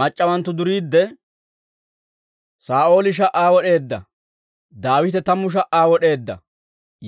Mac'c'awanttu duriidde, «Saa'ooli sha"aa wod'eedda; Daawite tammu sha"aa wod'eedda»